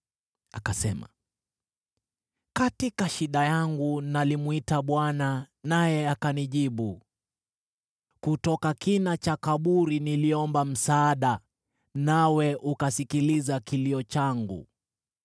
Akasema: “Katika shida yangu nalimwita Bwana , naye akanijibu. Kutoka kina cha kaburi niliomba msaada, nawe ukasikiliza kilio changu.